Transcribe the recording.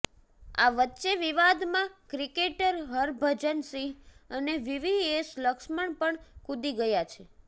આ વચ્ચે વિવાદમાં ક્રિકેટર હરભજન સિંહ અને વીવીએસ લક્ષ્મણ પણ કૂદી ગયા છે